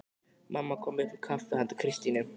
Mamma kom upp með kaffi handa Kristínu.